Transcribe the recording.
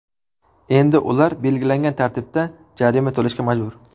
Endi ular belgilangan tartibda jarima to‘lashga majbur.